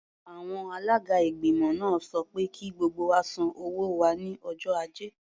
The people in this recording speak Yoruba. Àwọn alága ìgbìmọ̀ náà sọ pé kí gbogbo wa san owó wa ní ọjọ́ Ajé.